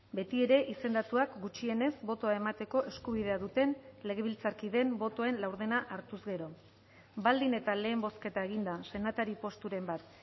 betiere izendatuak gutxienez botoa emateko eskubidea duten legebiltzarkideen botoen laurdena hartuz gero baldin eta lehen bozketa eginda senatari posturen bat